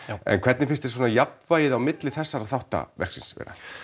en hvernig finnst þér jafnvægið á milli þessara þriggja þátta verksins